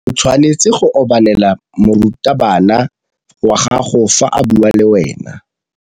O tshwanetse go obamela morutabana wa gago fa a bua le wena.